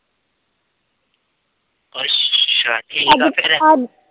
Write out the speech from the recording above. ਅੱਛਾ ਠੀਕ ਆ